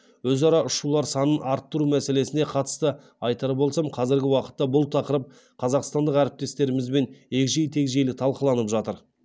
өзара ұшулар санын арттыру мәселесіне қатысты айтар болсам қазіргі уақытта бұл тақырып қазақстандық әріптестерімізбен егжей тегжейлі талқыланып жатыр